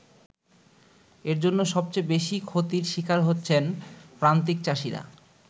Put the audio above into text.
এর জন্য সবচেয়ে বেশি ক্ষতির শিকার হচ্ছেন প্রান্তিক চাষীরা।